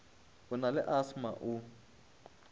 o na le asthma o